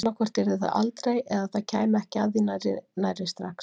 Annaðhvort yrði það aldrei eða það kæmi ekki að því nærri nærri strax.